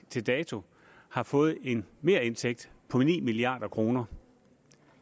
til dato har fået en merindtægt på ni milliard kroner